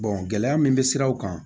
gɛlɛya min bɛ siraw kan